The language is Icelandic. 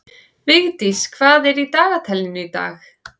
Vigdís, hvað er í dagatalinu í dag?